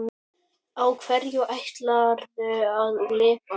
Á hverju ætlarðu að lifa?